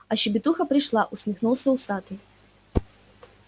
а щебетуха пришла усмехнулся усатый